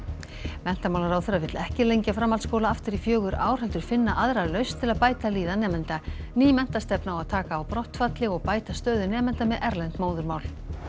menntamálaráðherra vill ekki lengja framhaldskóla aftur í fjögur ár heldur finna aðra lausn til að bæta líðan nemenda ný menntastefna á að taka á brottfalli og bæta stöðu nemenda með erlend móðurmál